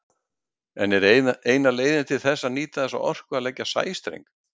En er eina leiðin til þess að nýta þessa orku að leggja sæstreng?